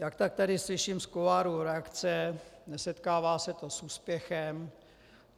Jak tak tady slyším z kuloárů reakce, nesetkává se to s úspěchem.